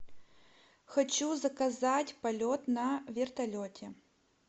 хочу заказать полет на вертолете